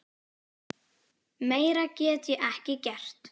Meira get ég ekki gert.